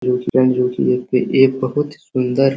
जोकि एक एक बहोत ही सुंदर --